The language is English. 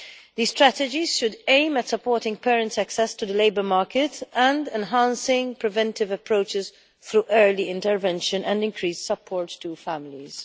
These strategies should aim at supporting parents' access to the labour market and enhancing preventive approaches through early intervention and increased support to families.